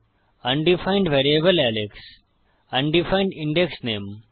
undefined variable এলেক্স undefined index name